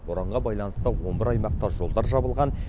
боранға байланысты он бір аймақта жолдар жабылған